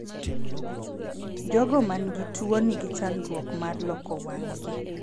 Jogo man gi tuo ni gi chandruok mar loko wang' gi.